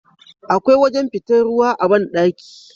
Akwai wajan fitar ruwa a banɗaki